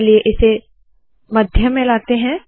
चलिए इसे मध्य में लाते है